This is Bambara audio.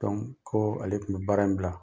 ko ale tun bɛ baara in bila.